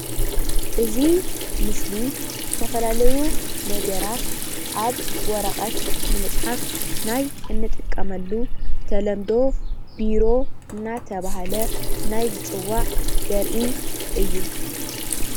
እዚ ምስሊ ዝተፈለላዩ ነገራት ኣብ ወረቀት ንምፅሓፍ ናይ እንጥቀመሉ ብተለምዶ ቢሮ እናተባህለ ናይ ዝፅዋዕ ዘርኢ እዩ።